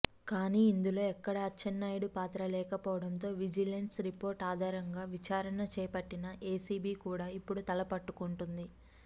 కానీ ఇందులో ఎక్కడా అచ్చెన్నాయుడు పాత్ర లేకపోవడంతో విజిలెన్స్ రిపోర్ట్ ఆధారంగా విచారణ చేపట్టిన ఏసీబీ కూడా ఇప్పుడు తలపట్టుకుంటోంది